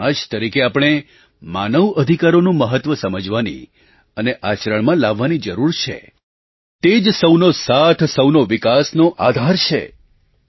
એક સમાજના રૂપમાં આપણે માનવ અધિકારોનું મહત્વ સમજવાની અને આચરણમાં લાવવાની જરૂર છે તે જ સૌનો સાથ સૌનો વિકાસનો આધાર છે